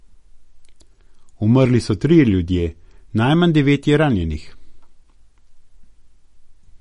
Umrli so trije ljudje, najmanj devet je ranjenih.